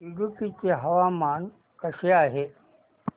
इडुक्की चे हवामान कसे आहे